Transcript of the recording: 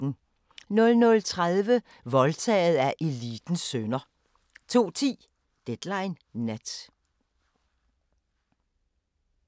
00:30: Voldtaget af elitens sønner 02:10: Deadline Nat